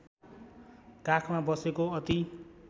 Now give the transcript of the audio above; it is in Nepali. काखमा बसेको अति